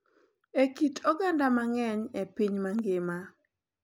E kit oganda mang’eny e piny mangima,